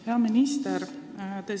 Hea minister!